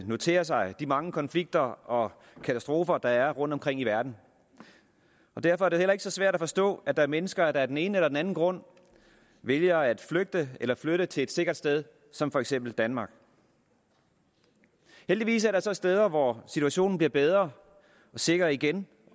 notere sig de mange konflikter og katastrofer der er rundtomkring i verden derfor er det heller ikke så svært at forstå at der er mennesker der af den ene eller den anden grund vælger at flygte eller flytte til et sikkert sted som for eksempel danmark heldigvis er der så steder hvor situationen bliver bedre og sikker igen